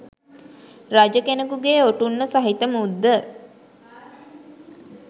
රජ කෙනකුගේ ඔටුන්න සහිත මුද්ද